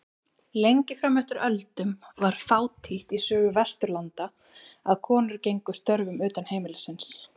Lengi fram eftir öldum var fátítt í sögu Vesturlanda að konur gegndu störfum utan heimilis.